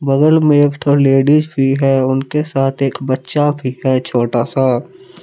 बगल में एक ठो लेडिस भी हैं उनके साथ एक बच्चा भी है छोटा सा।